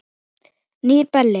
Nýr Belli.